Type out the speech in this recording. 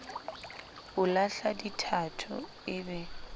o lahla dithatho e be